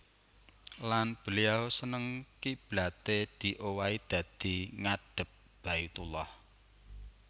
Lan beliau seneng kiblaté diowahi dadi ngadhep Baitullah